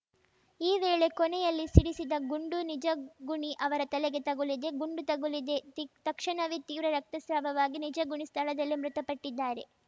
ಈ ವೇಳೆ ಕೊನೆಯಲ್ಲಿ ಸಿಡಿಸಿದ ಗುಂಡು ನಿಜಗುಣಿ ಅವರ ತಲೆಗೆ ತಗುಲಿದೆ ಗುಂಡು ತಗುಲಿದೆ ತಿ ತಕ್ಷಣವೇ ತೀವ್ರ ರಕ್ತಸ್ರಾವವಾಗಿ ನಿಜಗುಣಿ ಸ್ಥಳದಲ್ಲೇ ಮೃತಪಟ್ಟಿದ್ದಾರೆ